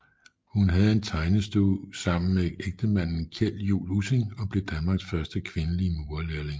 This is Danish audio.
Hun havde tegnestue sammen med ægtemanden Kjeld Juul Ussing og blev Danmarks første kvindelige murerlærling